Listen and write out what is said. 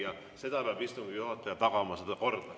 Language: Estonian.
Seda korda peab istungi juhataja tagama.